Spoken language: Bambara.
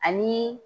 Ani